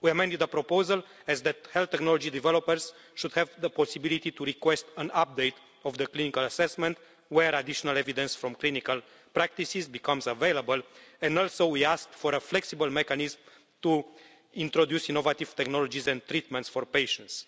We amended the proposal so that health technology developers would have the possibility to request an update of the clinical assessment where additional evidence from clinical practices became available, and we also asked for a flexible mechanism to introduce innovative technologies and treatments for patients.